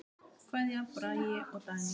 Kveðja, Bragi og Dagný.